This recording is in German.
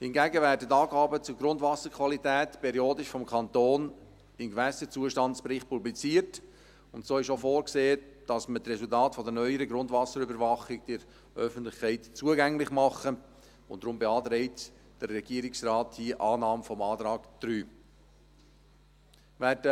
Hingegen werden die Angaben zur Grundwasserqualität periodisch vom Kanton im Gewässerzustandsbericht publiziert, und so ist auch vorgesehen, dass wir die Resultate der neueren Grundwasserüberwachung der Öffentlichkeit zugänglich machen, und daher beantragt der Regierungsrat hier die Annahme des Antrags 3. Werden